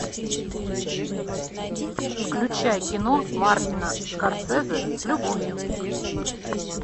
включай кино мартина скорсезе с любовью